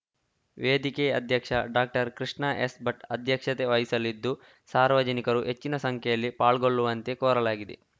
ವೇದಿಕೆ ಅಧ್ಯಕ್ಷ doctor Krishna S Bhat ಅಧ್ಯಕ್ಷತೆ ವಹಿಸಲಿದ್ದು ಸಾರ್ವಜನಿಕರು ಹೆಚ್ಚಿನ ಸಂಖ್ಯೆಯಲ್ಲಿ ಪಾಲ್ಗೊಳ್ಳುವಂತೆ ಕೋರಲಾಗಿದೆ